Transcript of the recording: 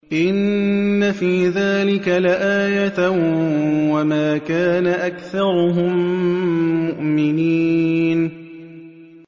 إِنَّ فِي ذَٰلِكَ لَآيَةً ۖ وَمَا كَانَ أَكْثَرُهُم مُّؤْمِنِينَ